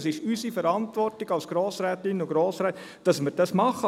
Es ist unsere Verantwortung als Grossrätinnen und Grossräte, dass wir dies machen.